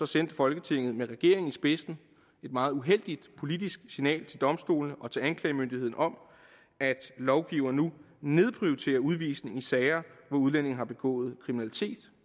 sendte folketinget med regeringen i spidsen et meget uheldigt politisk signal til domstolene og til anklagemyndigheden om at lovgivere nu nedprioriterer udvisning i sager hvor udlændinge har begået kriminalitet